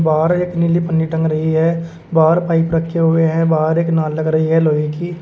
और एक नीली पन्नी टंग रही है बाहर पाइप रखे हुए हैं बाहर एक नाल लग रही है लोहे की।